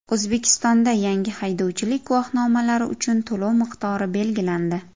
O‘zbekistonda yangi haydovchilik guvohnomalari uchun to‘lov miqdori belgilandi.